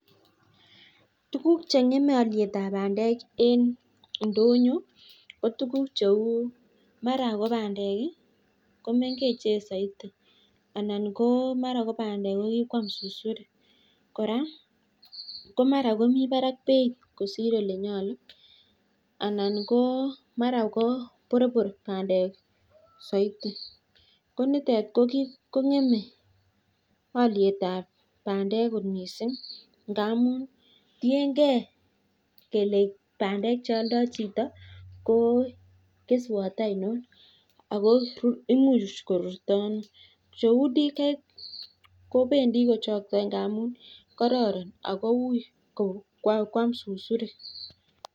Tukuk cheng'eme alietab bandek en ndonyo ko tukuk cheuu mara kobandek komengechen saiti anan mara ko bandek kora kokikoam susurik kora komara mibarak beit kosir olenyalu anan mara ko borbor bandek saiti ko nitet ko kong'eme alietab bandek kot missing ngamun tiengee bandek chealdo chito ko keswat ainon ago imuch korurto ano cheuu DK kobendii kochakta ngamuun kararan ngamun hui koam susurik